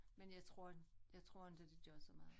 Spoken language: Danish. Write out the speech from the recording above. Men jeg tror jeg tror ikke det gør så meget